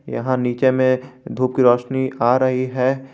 यहां नीचे में धूप की रोशनी आ रही है।